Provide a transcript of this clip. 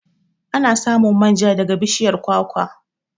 Ana samun manja daga bishiyar kwakwa.